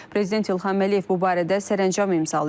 Prezident İlham Əliyev bu barədə sərəncam imzalayıb.